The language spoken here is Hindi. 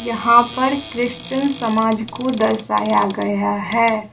यहां पर क्रिश्चियन समाज को दर्शाया गया है।